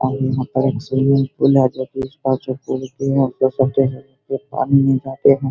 पानी में जाते हैं |